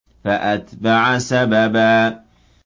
فَأَتْبَعَ سَبَبًا